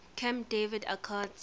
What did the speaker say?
camp david accords